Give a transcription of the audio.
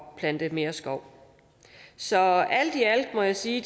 at plante mere skov så alt i alt må jeg sige